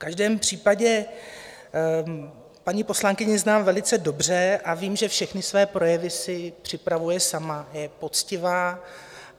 V každém případě paní poslankyni znám velice dobře a vím, že všechny své projevy si připravuje sama, je poctivá.